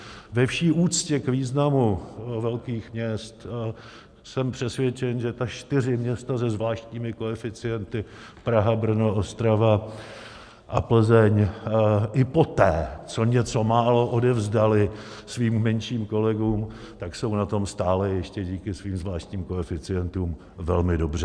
Ve vší úctě k významu velkých měst jsem přesvědčen, že ta čtyři města se zvláštními koeficienty - Praha, Brno, Ostrava a Plzeň - i poté, co něco málo odevzdala svým menším kolegům, tak jsou na tom stále ještě díky svým zvláštním koeficientům velmi dobře.